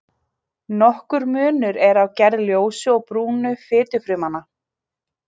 Nokkur munur er á gerð ljósu og brúnu fitufrumnanna.